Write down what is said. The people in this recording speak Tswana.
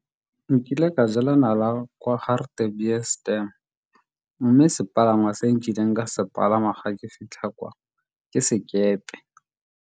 Nkile ka jela nala kwa Hartebees Dam mme sepalangwa se nkileng ka se palama ga ke fitlha kwa ke sekepe.